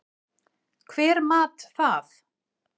Hver mat það?